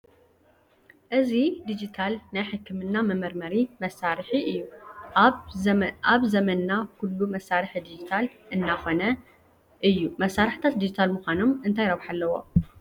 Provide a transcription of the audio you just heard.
እዚ ዲጂታል ናይ ሕክምና መመርመሪ መሳርሒ እዩ፡፡ ኣብ ዘመንና ኩሉ መሳርሒ ዲጂታል እናኾነ እዩ፡፡ መሳርሕታት ድጂታል ምዃኖም እንታይ ረብሓ ኣለዎ?